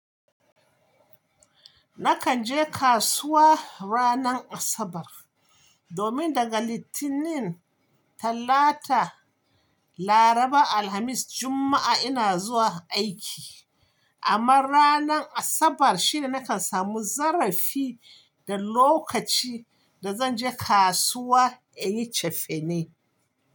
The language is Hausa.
Nakan je kasuwa ranar Asabar, domin daga Litinin, Talata, Laraba, Alhamis, Juma'a ina zuwa aiki. Amma ranar Asabar shine nakan samu zarafi da lokaci da zan je kasuwa in yi cefane.